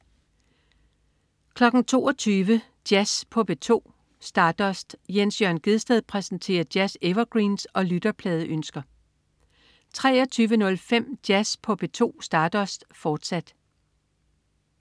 22.00 Jazz på P2. Stardust. Jens Jørn Gjedsted præsenterer jazz-evergreens og lytterpladeønsker 23.05 Jazz på P2. Stardust, fortsat